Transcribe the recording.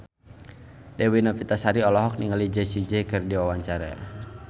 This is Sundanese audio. Dewi Novitasari olohok ningali Jessie J keur diwawancara